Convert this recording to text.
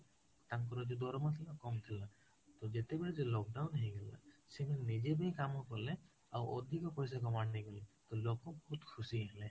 ତାଙ୍କର ଯୋଉ ଡ୍ରମ ଥିଲା ସେତ କମଥିଲା ତ ଯେତେ ବେଳେ lockdown ହେଇ ଗଲା ସେଇ ମାନେ ନିଜେ ବି କାମ କଲେ ଆଉ ଅଧିକ ପଇସା ନେଇ ଗଲେ ତ ଲୋକ ବହୁତ ଖୁସି ହେଲେ